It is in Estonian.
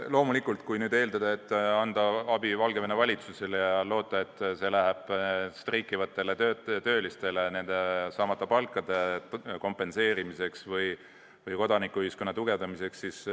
Loomulikult ei saa eeldada, et kui anda abi Valgevene valitsusele, siis võib loota, et see läheb streikivatele töölistele nende saamata palkade kompenseerimiseks või kodanikuühiskonna tugevdamiseks.